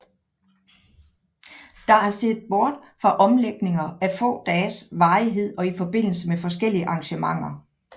Der er set bort fra omlægninger af få dages varighed og i forbindelse med forskellige arrangementer